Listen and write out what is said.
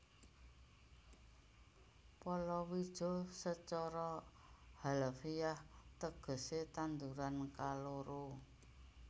Palawija sacara harfiah tegesé tanduran kaloro